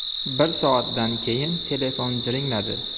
Bir soatdan keyin telefon jiringladi.